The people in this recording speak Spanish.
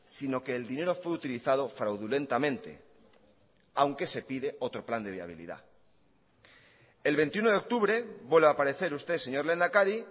sino que el dinero fue utilizado fraudulentamente aunque se pide otro plan de viabilidad el veintiuno de octubre vuelve a aparecer usted señor lehendakari